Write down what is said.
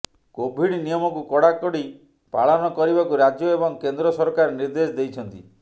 Covid ନିୟମକୁ କଡ଼ାକଡ଼ି ପାଳନ କରିବାକୁ ରାଜ୍ୟ ଏବଂ କେନ୍ଦ୍ର ସରକାର ନିର୍ଦ୍ଦେଶ ଦେଇଛନ୍ତି